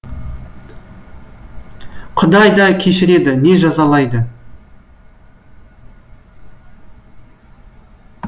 құдай де кешіреді не жазалайды